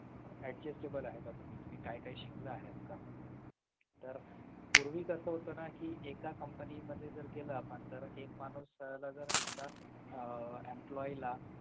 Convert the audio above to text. adjustable आहे का तुम्ही तुम्ही काही काही शिकला आहेत का तर पूर्वी कसं होतं ना कि एका company मध्ये जर गेला आपण तर एक माणूस जर एका आह emloye ला